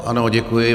Ano, děkuji.